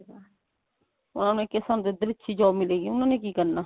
ਉਹਨਾ ਨੂੰ ਇਹ ਹੈ ਸਾਨੂੰ ਇੱਧਰ ਹੀ ਅੱਛੀ job ਮਿਲੇਗੀ ਉਹਨਾ ਨੇ ਕੀ ਕਰਨਾ